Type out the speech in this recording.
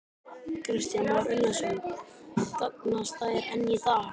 Kristján Már Unnarsson: Gagnast þær enn í dag?